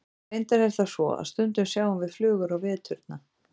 Reyndar er það svo að stundum sjáum við flugur á veturna.